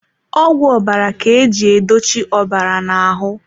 Ọgwụ ọbara ka eji edochi ọbara na ahụ.